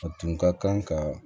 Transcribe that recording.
A tun ka kan ka